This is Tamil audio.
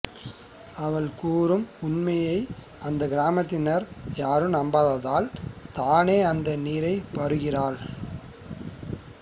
அவள் கூறும் உண்மையை அந்தக்கிராமத்தினர் யாரும் நம்பாததால் தானே அந்த நீரைப் பருகுகிறாள்